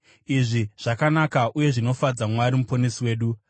Izvi zvakanaka uye zvinofadza Mwari muponesi wedu.